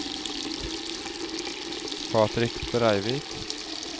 Patrick Breivik